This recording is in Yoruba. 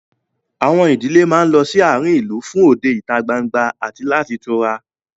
Àwọn ìdílé máa ń lọ sí àárín ìlú fún òde ìta gbangba àti láti tura